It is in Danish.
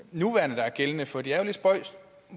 gælder for det er jo lidt spøjst